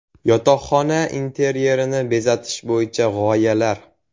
Yotoqxona interyerini bezatish bo‘yicha g‘oyalar.